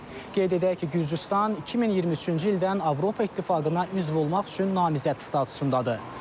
Qeyd edək ki, Gürcüstan 2023-cü ildən Avropa İttifaqına üzv olmaq üçün namizəd statusundadır.